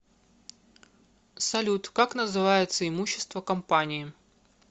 салют как называется имущество компании